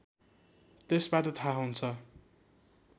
त्यसबाट थाहा हुन्छ